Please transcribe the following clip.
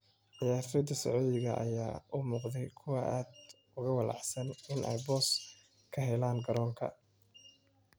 Ciyaartoyda Sucuudiga ayaa u muuqday kuwo aad uga walaacsan in ay boos ka helaan garoonka.